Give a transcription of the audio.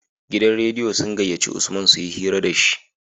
Gidan rediyo sun gayyaci usman suyi hira dashi